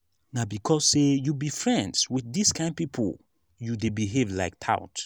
na because sey you be friends wit dis kain pipo you dey behave like tout.